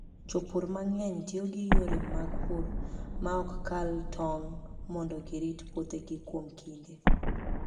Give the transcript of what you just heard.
Jopur mang'eny tiyo gi yore mag pur ma ok kal tong' mondo girit puothegi kuom kinde.